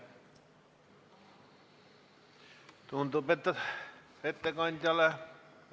Tundub, et ettekandjale ...